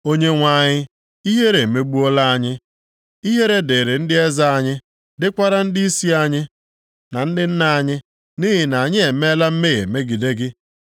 Onyenwe anyị, ihere emegbuola anyị. Ihere dịrị ndị eze anyị, dịkwara ndịisi anyị na ndị nna anyị, nʼihi na anyị emeela mmehie megide gị.